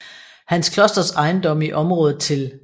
Hans Klosters ejendomme i området til